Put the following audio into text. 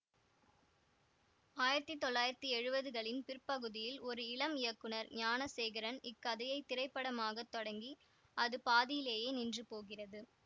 ஆயிரத்தி தொள்ளாயிரத்தி எழுவதுகளின் பிற்பகுதியில் ஒரு இளம் இயக்குநர் ஞானசேகரன் இக்கதையைத் திரைப்படமாக்கத் தொடங்கி அது பாதியிலேயே நின்று போகிறது